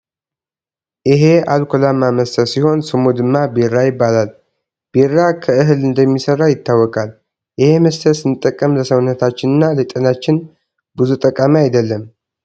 አሄ ኣልኮላማ መስተ ሲሆን ስሙ ድማ ቢራ ይባላል። ቢራ ከህል እንደሚሰራ ይታወቃል። ኤሄ መስተ ስንጠቀም ለሰውነታችን እና ለጤናችን ቡዙ ጠቃሚ ኣይደለም።